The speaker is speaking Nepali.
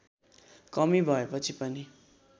कमी भएपछि पनि